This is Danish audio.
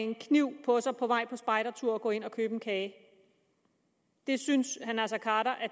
en kniv på sig på vej på spejdertur og gå ind og købe en kage der synes herre naser khader at